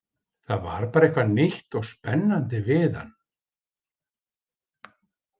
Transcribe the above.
Það var bara eitthvað nýtt og spennandi við hann.